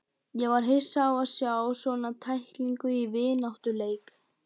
Ég var hissa á að sjá svona tæklingu í vináttuleik.